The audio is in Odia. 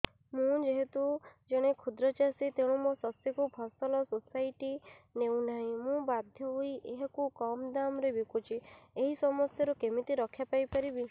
ମୁଁ ଯେହେତୁ ଜଣେ କ୍ଷୁଦ୍ର ଚାଷୀ ତେଣୁ ମୋ ଶସ୍ୟକୁ ଫସଲ ସୋସାଇଟି ନେଉ ନାହିଁ ମୁ ବାଧ୍ୟ ହୋଇ ଏହାକୁ କମ୍ ଦାମ୍ ରେ ବିକୁଛି ଏହି ସମସ୍ୟାରୁ କେମିତି ରକ୍ଷାପାଇ ପାରିବି